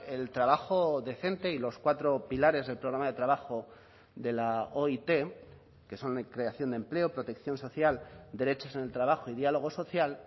el trabajo decente y los cuatro pilares del programa de trabajo de la oit que son la creación de empleo protección social derechos en el trabajo y diálogo social